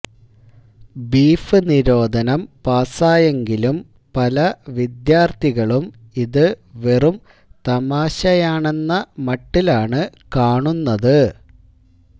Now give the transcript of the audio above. beef നിരോധനം പാസ്സായെങ്കിലും പല വിദ്യാര്ഥികളും ഇതുവെറും തമാശയാണെന്ന മട്ടിലാണ് കാണുന്നത്